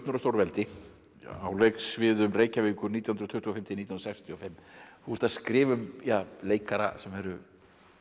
og stórveldi á leiksviðum Reykjavíkur nítján hundruð tuttugu og fimm til nítján hundruð sextíu og fimm þú ert að skrifa um leikara sem eru